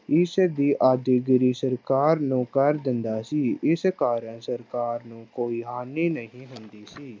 ਇਸ ਦੀ ਸਰਕਾਰ ਨੂੰ ਕਰ ਦਿੰਦਾ ਸੀ, ਇਸ ਕਾਰਨ ਸਰਕਾਰ ਨੂੰ ਕੋਈ ਹਾਨੀ ਨਹੀਂ ਹੁੰਦੀ ਸੀ।